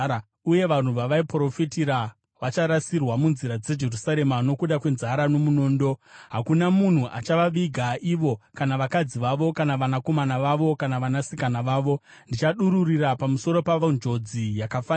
Uye vanhu vavaiprofitira vacharasirwa munzira dzeJerusarema nokuda kwenzara nomunondo. Hakuna munhu achavaviga ivo, kana vakadzi vavo, kana vanakomana vavo, kana vanasikana vavo. Ndichadururira pamusoro pavo njodzi yakafanira.